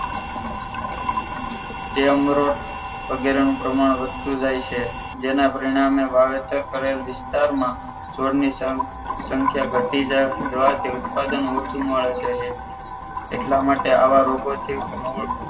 એમરોડ વગેરેનું પ્રમાણ વધતું જાય છે જેના પરિણામે વાવેતર કરેલ વિસ્તારમાં છોડની સંખ્યા ઘટી જવાથી ઉત્પાદન ઓછું મળે છે એટલા માટે આ રોગો થી મૂળ